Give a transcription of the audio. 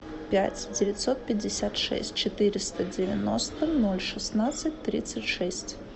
пять девятьсот пятьдесят шесть четыреста девяносто ноль шестнадцать тридцать шесть